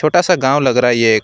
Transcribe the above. छोटा सा गांव लग रहा है ये एक।